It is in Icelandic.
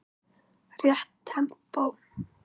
Rétt tempó.